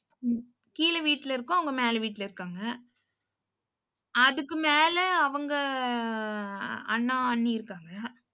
கீழ வீட்ல இருக்கோம், அவங்க மேல வீட்டுல இருக்காங்க. அதுக்கு மேல அவங்க அண்ணா அண்ணி இருக்காங்க.